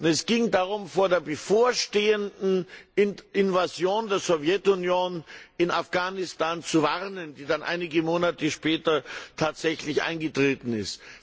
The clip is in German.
Es ging darum, vor der bevorstehenden Invasion der Sowjetunion in Afghanistan zu warnen, die dann einige Monate später tatsächlich eingetreten ist.